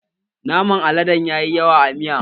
Naman aladen ya yi yawa a miyan